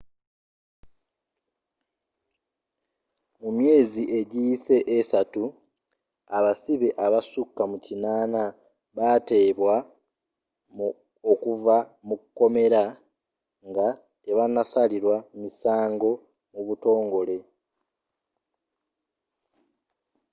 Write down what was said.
mu myezi egiyise 3 abasibe abasukka mu 80 baateebwa okuva mu kkomera nga tebanasalirwa misango mu butongole